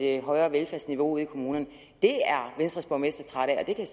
et højt velfærdsniveau ude i kommunerne det er venstres borgmestre trætte af det kan